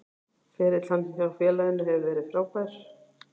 Ferill hans hjá félaginu hefur verið frábær.